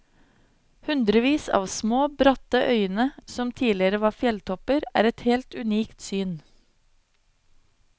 Hundrevis av små, bratte øyene som tidligere var fjelltopper, er et helt unikt syn.